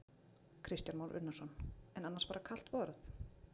Kristján Már Unnarsson: En annars bara kalt borð?